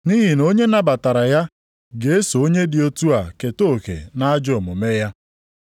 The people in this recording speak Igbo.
Nʼihi na onye nabatara ya ga-eso onye dị otu a keta oke nʼajọ omume ya.